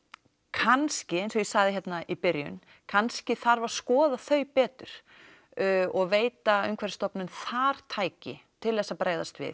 kannski eins og ég sagði hérna í byrjun kannski þarf að skoða þau betur og veita Umhverfisstofnun þar tæki til þess að bregðast við